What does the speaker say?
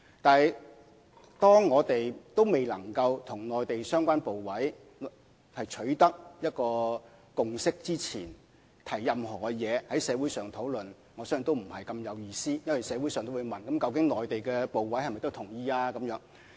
但是，當我們仍未能與內地相關部委取得共識之前，在社會上提出任何意見進行討論，我相信也意思不大，因為社會上也會問究竟內地相關部委是否同意。